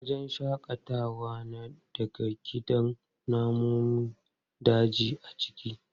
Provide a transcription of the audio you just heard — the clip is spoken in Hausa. Wajen shaƙatawa na da gidan namun daji a ciki.